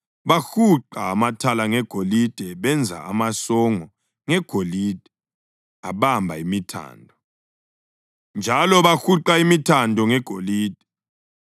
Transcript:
Bahuqa amathala ngegolide benza amasongo ngegolide abamba imithando. Njalo bahuqa imithando ngegolide.